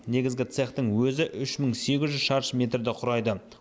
негізгі цехтың өзі үш мың сегіз жүз шаршы метрді құрайды